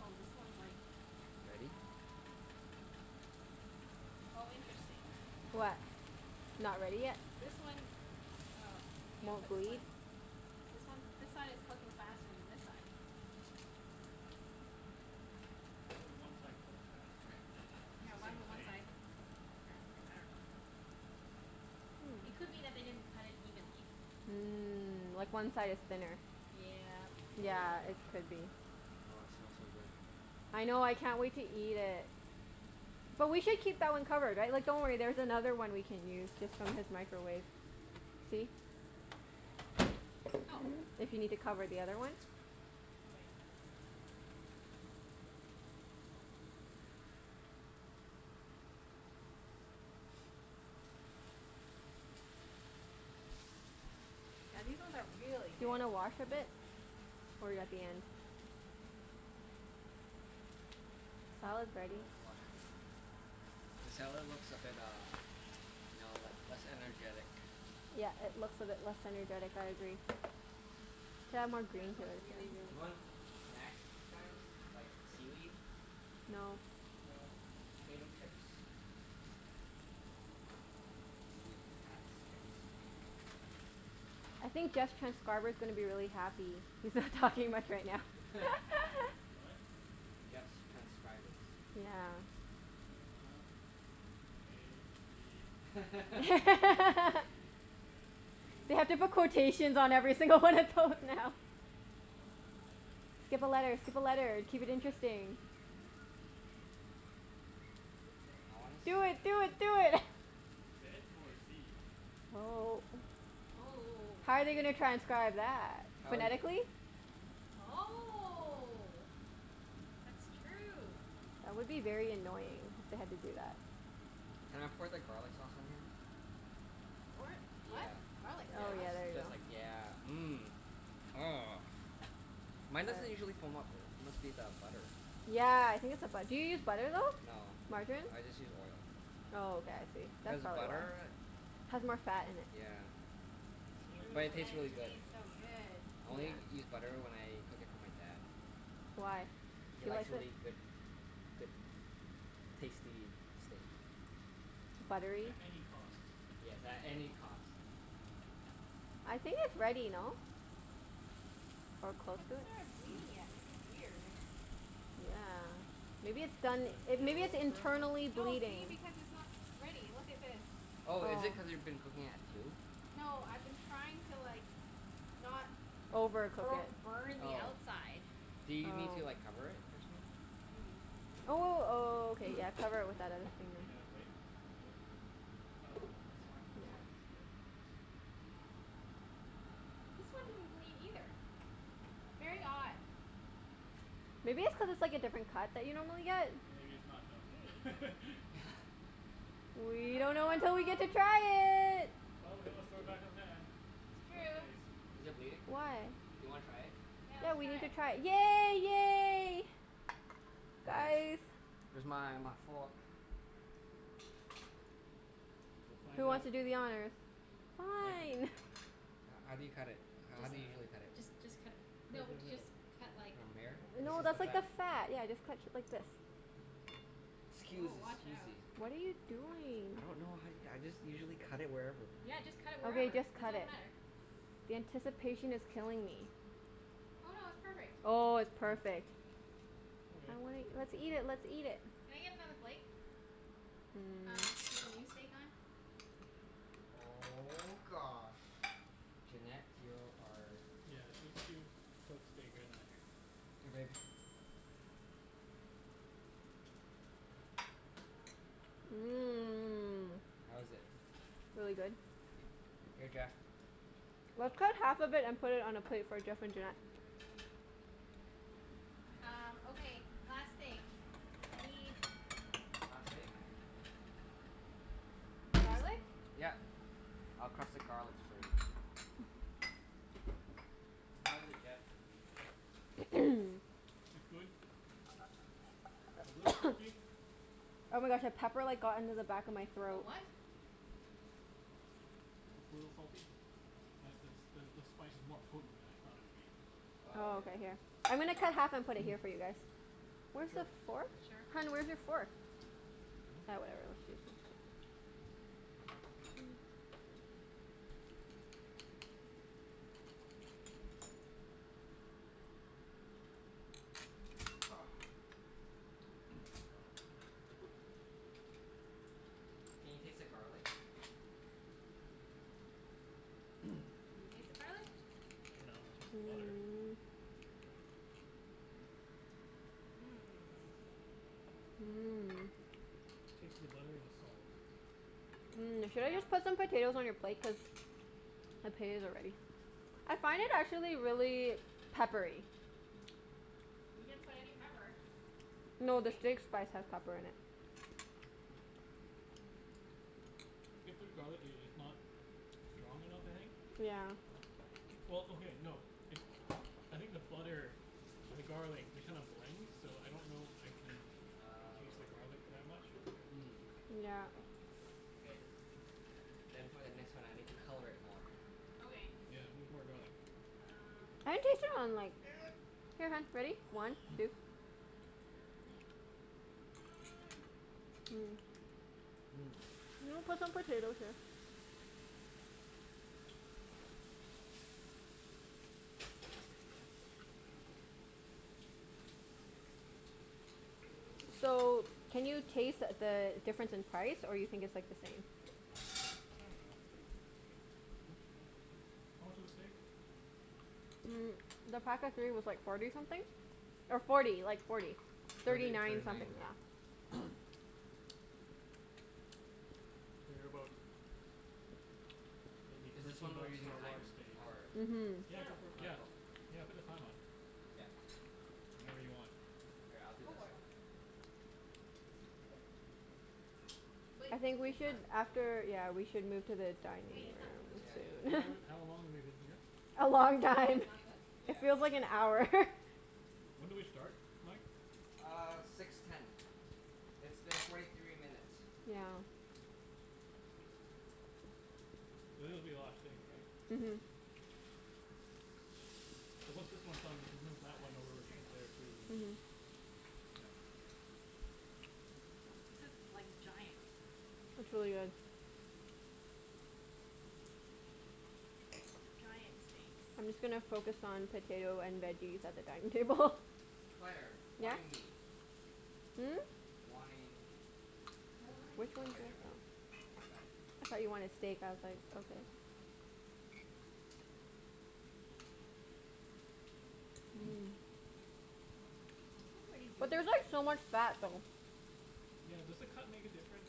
Oh, this one's like Ready? Oh, interesting. What? Not ready yet? This one, oh, I'm gonna Won't put this one bleed? This one, this side is cooking faster than this side. Why would one side cook faster? It's Yeah, the why same would one steak. side cook faster? I dunno. It Hmm. could be that they didn't cut it evenly. Mm. Like one side is thinner. Yep. Oh yeah, Yeah, could it be. could be. Oh, it smells so good. I know. I can't wait to eat it. But we should keep that one covered, right? Like, don't worry, there's another one we can use just from his microwave. See? Oh. If you need to cover the other one. Okay. Yeah, these ones are really Do you thick. wanna wash a bit? Or are you at the end? We Salad's ready. can always wash at the end. The salad looks a bit uh, you know, le- less energetic. Yeah, it looks a bit less energetic. I agree. We can add more Yeah, green this to smells it really, then. really You want good. snacks, guys? Mmm. Like, seaweed? No. No. Potato chips? Sweet potats chips. I think Jeff's transcriber's gonna be really happy. He's not What? talking much right now. What? Jeff's transcribers. Yeah. uh-huh. A b c d e f p They have to put quotations h i j k l on m every n single one of those now. o p Skip a letter! Skip a q letter! Keep it r s t u interesting. v w I wanna x s- Do y it! zed. Do it! Do it! Zed or zee? Oh. Oh oh oh How oh. are they gonna transcribe that? How is it? Phonetically? I dunno. Oh. That's true. That would be very annoying if they had to do that. Can I pour the garlic sauce on here? G- what? Yeah, What? Garlic yeah, Oh sauce? yeah, just there ya because like, go. yeah. Mmm. Oh, mine doesn't usually foam up. Must be the butter. Yeah, I think it's the bu- do you use butter, though? No, Margarine? I just use oil. Oh, okay. I see. Cuz That's probably why. butter, Has more fat in it. yeah. She only True, But just it but started tastes and it really using good. b- tastes so butter. good. I only Yeah. use butter when I cook it for my dad. Why? He He likes likes really it? good good tasty steak. Buttery? At any cost. Yes, at any cost. I think it's ready, no? Or close It to it? hasn't started bleeding yet. This is weird. Yeah. Maybe it's done, Does it it, maybe it's feel firm, though? internally No, see? bleeding? Because it's not ready. Look at this. Oh, is it Yeah. cuz you've been cooking at two? No, I've been trying to like not Overcook bo- it. burning the Oh. outside. Do you need to Oh. like cover it or something? Maybe. Oh w- w- okay, yeah, cover it with that other thing. Need another plate? Yep. Oh, Oh, this okay. wine, this wine Sure, is good. that works. This one didn't bleed either. Very odd. uh-oh. Maybe it's cuz it's like a different cut that you normally get? Maybe it's not Maybe. done. We I don't know until don't we get to know. try it. Well, we can always throw it back in the pan. It's Worst true. case. Is it bleeding? Do Why? you wanna try it? Yeah, Yeah, let's we try need to it. try it. Yay! Yay! Guys. Where's my my fork? We'll Who find wants out. to do the honors? Mike can do the Fine. honors. H- how do you cut it? I How Just do you dunno. usually cut it? just just cut a p- Cut it No, through the just middle. cut like From here? This No, Oh, is this the that's is Yeah. new. like the fat. fat. Yeah, just cut t- like this. K. Woah, Scusi, watch out. scusi. What are you doing? I don't know, honey. I just usually cut it wherever. Yeah, just cut it Okay, wherever. just It cut doesn't it. matter. The anticipation is killing me. Oh no, it's perfect. Oh, it's Oh. perfect. Okay. I wanna, let's eat it, let's eat it. Can I get another plate? Mm. Um, to put the new steak on. Oh gosh, Junette, you're our Yeah, she she cooks steak better than I do. Here babe. Mmm. How is it? Really good. Here Jeff. Let's cut Ah. half of it and put All it on a right. plate for Jeff and Junette. Um, Okay. okay, last steak. Yeah. I need Last steak? Just, garlic. yep. I'll crush the garlics for you. How is it, Jeff? It's good. A little salty. Oh my gosh, a pepper like got into the back of my A throat. what? It's a little salty. That that the spice is more potent than I thought it would be. Oh Oh, yeah. okay. Here. I'm gonna cut half and put it here for you guys. Where's the Sure. fork? Sure. Hun, where's your fork? Ah, whatever. Let's just u- Oh. Can you taste the garlic? Can you taste the garlic? I dunno. I taste the butter. Mmm. Here you go. Mmm. Mmm. Taste the butter and the salt. Mmm. Should I just Yep. put some potatoes on your plate? Cuz potatoes are ready. I find it, actually, really peppery. We didn't put any pepper. No, Did the we? steak spice has pepper in it. Get through garlic, i- it's not strong enough, I think. Yeah. Well, okay, no. It I think the butter and the garlic, they kind of blend. So I don't know if I can taste the Oh. garlic that much. Mm. Yeah. Okay. Then for the next one I need to color it more. Okay. Yeah, needs more garlic. Um I can taste it on like Here, hun, ready? One two Mmm. Mmm. You wanna put some potatoes here? So, can you taste the difference in price, or you think it's like the same? I dunno. Hmm hmm hmm, how much was the steak? Mm, the pack of three was like forty something. Or forty. Like forty. Thirty Thirty thirty nine something, nine. yeah. Figure about maybe Is this thirteen one we're bucks using for a large thyme, steak. or Mhm. Yeah, go Sure. for it. Oh yeah, Yeah, cool. yeah, put the time on. Yep. Whenever you want. Here, I'll do Go this for it. one. But I think we is should, that Yeah. after, yeah, we should move to the Wait, dining it's not Yeah, cooked I yet. should've How told long room her soon. have w- to. how long have we been here? A long Even when time. it's not cooked? It Yeah. feels like an hour. When did we start, Mike? Uh, six ten. It's been forty three minutes. Yeah. This is gonna be a lot of steak, Yeah. right? Mhm. Mhm. So once this one's done we can move that one over Nice. There to we go. there too, and Yeah. This is like, giant. It's really good. Giant steaks. I'm just gonna focus on potato and veggies at the dining table. Claire, Yeah. wine me. Hmm? Wine. More Wine. wine Which Oh one's okay, never yours mind. though? I got it. I thought you wanted steak. I was like, okay. Mmm. It's pretty But juicy. there's like so much fat though. Yeah, does the cut make a difference?